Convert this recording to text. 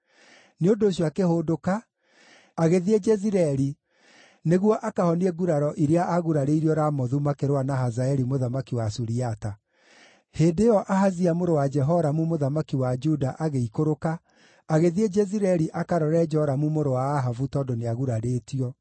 nĩ ũndũ ũcio akĩhũndũka, agĩthiĩ Jezireeli nĩguo akahonie nguraro iria aagurarĩirio Ramothu makĩrũa na Hazaeli mũthamaki wa Suriata. Hĩndĩ ĩyo Ahazia mũrũ wa Jehoramu mũthamaki wa Juda agĩikũrũka agĩthiĩ Jezireeli akarore Joramu mũrũ wa Ahabu tondũ nĩagurarĩtio.